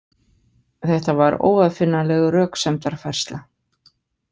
Þetta var óaðfinnanleg röksemdarfærsla.